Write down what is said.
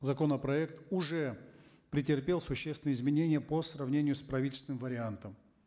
законопроект уже претерпел существенные изменения по сравнению с правительственным вариантом